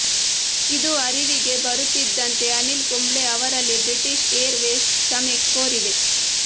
ಇದು ಅರಿವಿಗೆ ಬರುತ್ತಿದ್ದಂತೆ ಅನಿಲ್ ಕುಂಬ್ಳೆ ಅವರಲ್ಲಿ ಬ್ರಿಟಿಷ್ ಏರ್ ವೇಸ್ ಕ್ಷಮೆ ಕೋರಿದೆ